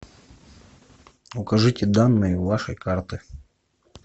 укажите данные вашей карты